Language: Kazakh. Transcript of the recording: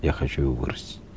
я хочу его вырастить